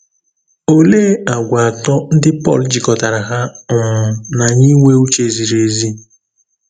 Òlèé àgwà atọ́ ńdí Pọ́l jikọ̀tárà hà um nà ányị̀ ínwè ǔchè zìrì èzì.